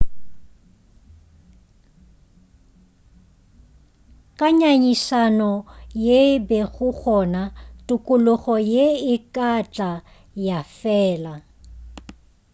ka nyanyišano ye e bego gona tokologo ye e ka tla ya fela